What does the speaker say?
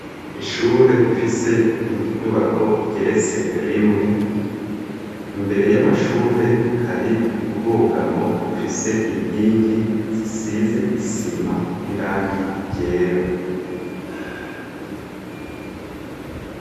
Ishure rifise inyubako igeretse rimwe, imbere y'amashure hari ubwugamo bufise inkingi zisize isima n'irangi ryera.